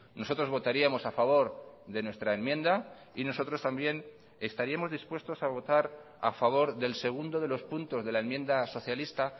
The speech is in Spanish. nosotros votaríamos a favor de nuestra enmienda y nosotros también estaríamos dispuestos a votar a favor del segundo de los puntos de la enmienda socialista